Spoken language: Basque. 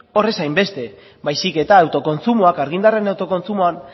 hor ez hainbeste baizik eta autokontsumoak argindarraren autokontsumoan